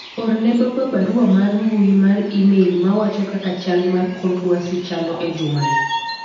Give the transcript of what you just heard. orne baba barua mar mbui mar email mwacho kaka chal mar kor lwasi chali e juma ni